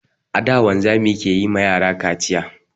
A da, wanzami ke yi ma yara kaciya.